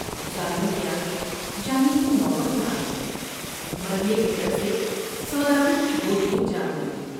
ظالم کے آگے جانے کی نوبت نہ آئی ۔مرنے کے ڈر سے سوداگر کی گود میں جان دے دی ۔